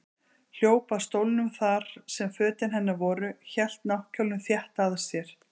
Hljóp að stólnum þar sem fötin hennar voru, hélt náttkjólnum þétt að sér.